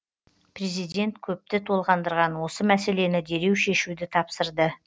президент көпті толғандырған осы мәселені дереу шешуді тапсырды